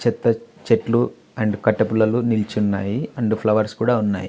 చెత్త చెట్లు అండ్ కట్టే పుల్లలు నిలుచున్నాయి అండ్ ఫ్లవర్స్ కూడా ఉన్నాయి.